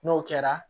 N'o kɛra